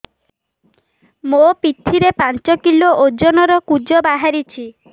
ମୋ ପିଠି ରେ ପାଞ୍ଚ କିଲୋ ଓଜନ ର କୁଜ ବାହାରିଛି